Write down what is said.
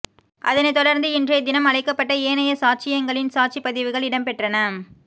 அதனை தொடர்ந்து இன்றைய தினம் அழைக்கப்பட்ட ஏனைய சாட்சியங்களின் சாட்சி பதிவுகள் இடம்பெற்றன